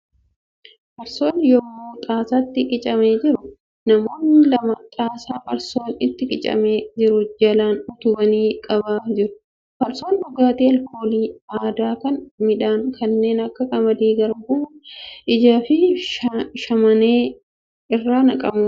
Farsoon yemmuu xaasaatti qicamaa jiru. Namoonni lama xaasaa farsoon itti qicamaa jiru jalaan utubanii qabaa jiru. Farsoon dhugaatii alkoolii aadaa kan midhaan kanneen akka qamadii, garbuu, ajjaa fi shamaanee irraa naqamuu danda'a.